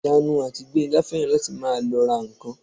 Ìyanu àti Gbénga fẹ́ràn láti máa lọ ra ǹkan